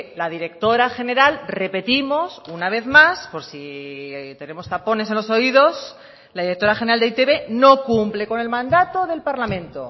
la directora general repetimos una vez más por si tenemos tapones en los oídos la directora general de e i te be no cumple con el mandato del parlamento